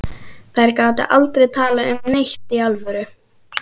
Þær gátu aldrei talað um neitt í alvöru.